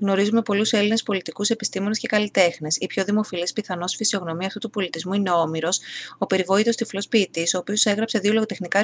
γνωρίζουμε πολλούς έλληνες πολιτικούς επιστήμονες και καλλιτέχνες η πιο δημοφιλής πιθανώς φυσιογνωμία αυτού του πολιτισμού είναι ο όμηρος ο περιβόητος τυφλός ποιητής ο οποίος έγραψε δύο λογοτεχνικά